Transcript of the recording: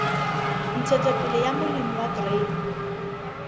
ntshetsopele ya molemi wa grain